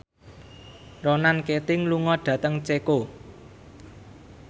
Ronan Keating lunga dhateng Ceko